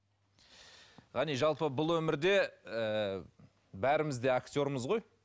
ғани жалпы бұл өмірде ііі бәріміз де актермыз ғой